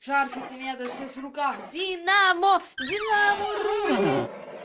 шарфик у меня даже сейчас в руках динамо динамо рулит